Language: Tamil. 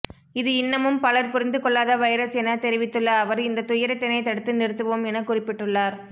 இது இன்னமும் பலர் புரிந்துகொள்ளாத வைரஸ் என தெரிவித்துள்ள அவர் இந்த துயரத்தினை தடுத்துநிறுத்வோம் என குறிப்பிட்டுள்ளார்